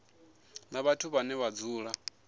na vhathu vhane vha dzula